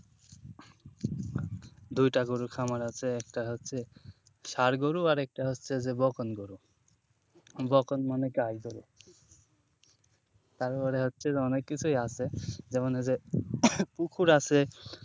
দুইটা গরুর খামার আছে একটা হচ্ছে ষাঁড় গরু আর একটা হচ্ছে যে বগন গরু বগন মানে গাই গরু। তারপরে হচ্ছে অনেক কিছুই আছে যেমন হচ্ছে পুকুর আছে।